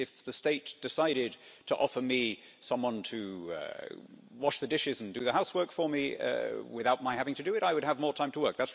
If the state decided to offer me someone to wash the dishes and do the housework for me without my having to do it, I would have more time to work.